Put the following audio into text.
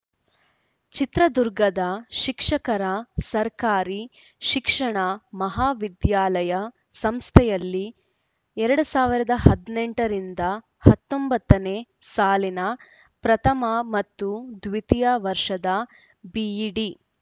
ಚಿತ್ರದುರ್ಗದ ಶಿಕ್ಷಕರ ಸರ್ಕಾರಿ ಶಿಕ್ಷಣ ಮಹಾವಿದ್ಯಾಲಯ ಸಂಸ್ಥೆಯಲ್ಲಿ ಎರಡ್ ಸಾವಿರದ ಹದಿನೆಂಟರಿಂದ ಹತ್ತೊಂಬತ್ತನೇ ಸಾಲಿನ ಪ್ರಥಮ ಮತ್ತು ದ್ವಿತೀಯ ವರ್ಷದ ಬಿಇಡಿ